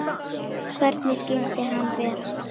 Hvernig skyldi hann vera?